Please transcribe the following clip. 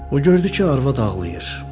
O gördü ki, arvad ağlayır.